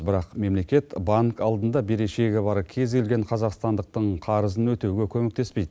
бірақ мемлекет банк алдында берешегі бар кез келген қазақстандықтың қарызын өтеуге көмектеспейді